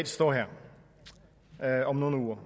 står her om nogle uger